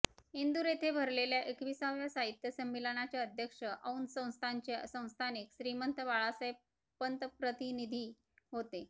इंदूर येथे भरलेल्या एकविसाव्या साहित्य संमेलनाचे अध्यक्ष औंध संस्थानचे संस्थानिक श्रीमंत बाळासाहेब पंतप्रतिनिधी होते